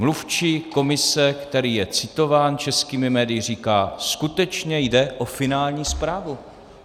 Mluvčí Komise, který je citován českými médii, říká: Skutečně jde o finální zprávu.